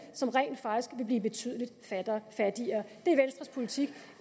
som rent faktisk vil blive betydeligt fattigere